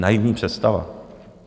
Naivní představa.